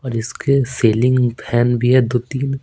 और इसके ceiling fan भी है दो-तीन।